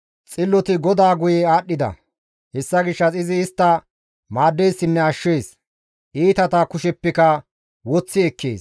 Xilloti GODAA guye aadhdhida; hessa gishshas izi istta maaddeessinne ashshees; iitata kusheppeka woththi ekkees.